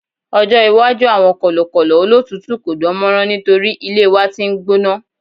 ọjọ iwaju awọn kọlọkọlọ olotutu ko dánmọrán nitori ilé wan t'in n gbóná